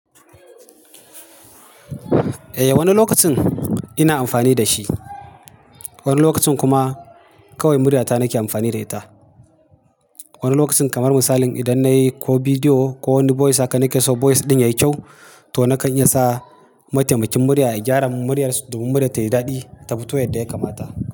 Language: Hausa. Eh, wani lokacin ina amfani da shi, wani lokacin kuma kawai murya ta nake amfani da ita. Wani lokacin kamar misali idan nayi ko bidiyo ko wani voice haka nake so voice ɗin yayi kyau to nakan iya sa mataimakin murya ya gyara muryar domin murya tayi daɗi tafi to yadda yakamata.